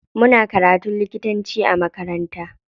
Muna karatun likitanci a makaranta.